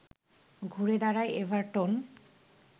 ঘুরে দাঁড়ায় এভারটন